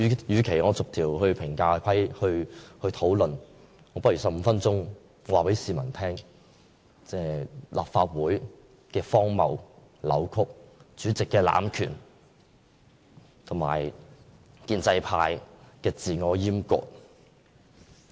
與其逐一討論，我不如用這15分鐘告訴市民立法會的荒謬、扭曲，主席的濫權和建制派的自我閹割。